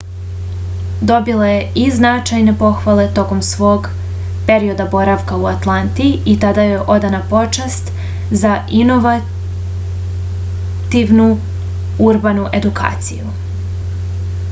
dobila je i značajne pohvale tokom svog perioda boravka u atlanti i tada joj je odana počast za inovativnu urbanu edukaciju